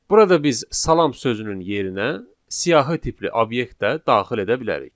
Burada biz salam sözünün yerinə siyahı tipli obyekt də daxil edə bilərik.